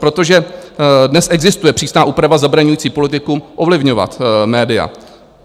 Protože dnes existuje přísná úprava zabraňující politikům ovlivňovat média.